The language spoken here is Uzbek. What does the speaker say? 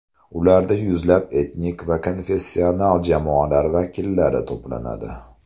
Ularda yuzlab etnik va konfessional jamoalar vakillari to‘planadi.